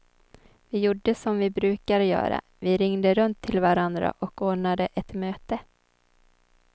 Vi gjorde som vi brukar göra, vi ringde runt till varandra och ordnade ett möte.